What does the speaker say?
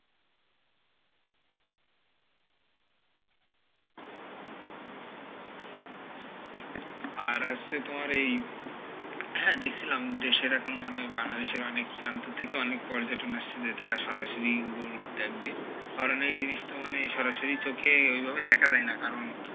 আর হচ্ছে তোমার এই হ্যাঁ দেখছিলাম দেশের এখন মানে বাংলাদেশে অনেক প্রান্ত থেকে অনেক পর্যটন আসছে যে তারা সরাসরি গুড় দেখবে, কারণ এই জিনিসটা মানে সরাসরি চোখে ওই ভাবে দেখা যায়না, কারণ,